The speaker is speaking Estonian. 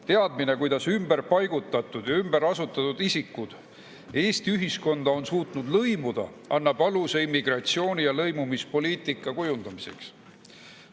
Teadmine, kuidas ümberpaigutatud ja ümberasustatud isikud Eesti ühiskonda on suutnud lõimuda, annab aluse immigratsiooni‑ ja lõimumispoliitika kujundamiseks.